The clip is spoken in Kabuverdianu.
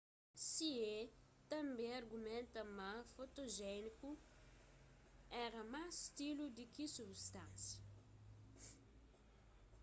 hsieh tanbê argumenta ma ma fotojéniku éra más stilu di ki substansia